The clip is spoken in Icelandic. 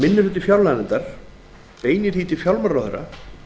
minni hlutinn beinir því til fjármálaráðherra